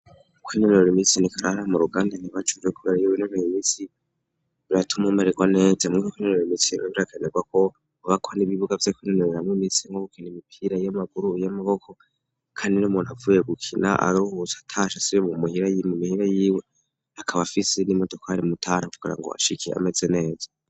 Kuko inemero imitsini kararih mu ruganda ntibacuje, kubera y'iwe inomere imisi biratuma umererwa neja mwo, kuko inonero imitsinino birakanirwa ko bubakwa n'ibibuga vye koinonera m'imitsi nko gukina imipira y'amaguru y'amaboko, kandi no muntu avuye gukina aruhutsa atasha si be mu muhira yiwe mu mihira yiwe hakaba afise izina imodokari mutara kugira ngo hashikiye amezi jo neza.